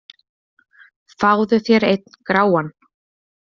Fáðu þér einn gráan!